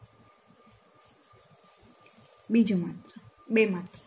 બીજામાં બે માત્ર